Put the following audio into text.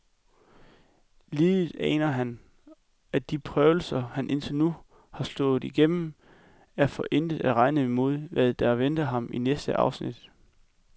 Lidet aner han, at de prøvelser, han indtil nu har stået igennem, er for intet at regne imod, hvad der venter ham i næste afsnit.